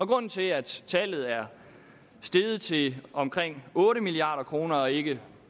grunden til at tallet er steget til omkring otte milliard kroner og ikke